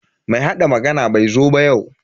Mai hada magani bai zo ba yau.